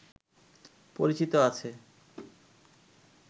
পরিচিত আছে